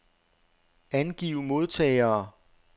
Angiv modtagere.